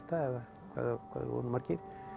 eða hvað þeir voru margir